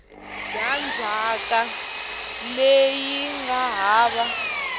bya ndzhaka leyi nga hava